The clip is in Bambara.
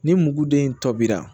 Ni muguden in tɔ bɛra